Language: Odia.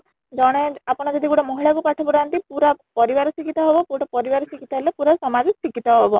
ଜଣେ ଆପଣ ଯଦି ଗୋଟେ ମହିଳା କୁ ପାଠ ପଢାନ୍ତି ପୁରା ପରିବାର ଶିକ୍ଷିତ ହବ , ଗୋଟେ ପରିବାର ଶିକ୍ଷିତ ହେଲେ ପୁରା ସମାଜ ଶିକ୍ଷିତ ହବ